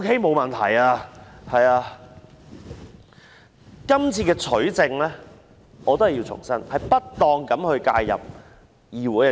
我重申今次取證是不當地介入議會。